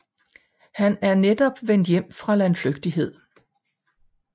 Han er netop vendt hjem fra landflygtighed